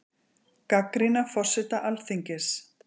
Gagnrýna forseta Alþingis